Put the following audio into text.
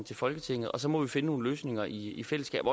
til folketinget og så må vi finde nogle løsninger i i fællesskab